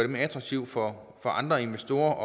mere attraktivt for andre investorer